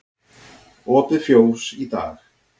Opið fjós í dag